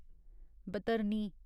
Baitarani